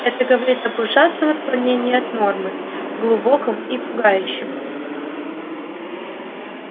это говорит об ужасном отклонений от нормы глубоком и пугающем